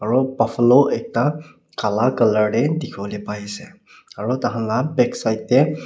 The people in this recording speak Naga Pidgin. aru bafellow ekta kala colour dekhi bole pai ase aru ta khan ka backside teh.